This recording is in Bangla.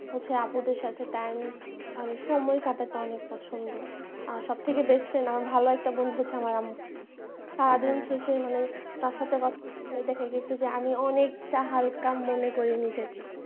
হচ্ছে আপুদের সাথে time সময় কাটাতে অনেক পছন্দ আর সব থেকে best friend আমার ভাল একটা বন্ধু হচ্ছে আমার আম্মু সারাদিন শেষে মানে তার সাথে কথা বলে দেখা গেছে যে আমি অনেকটা হাল্কা মনে করি নিজেকে।